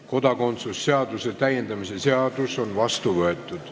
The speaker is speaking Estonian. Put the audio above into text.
Kodakondsuse seaduse täiendamise seadus on vastu võetud.